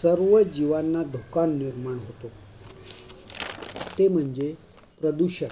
सर्व जीवांना धोका निर्माण होतो. ते म्हणजे, प्रदूषण